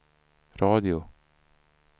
radio